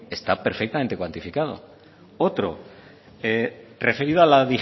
está perfectamente cuantificado otro referido a la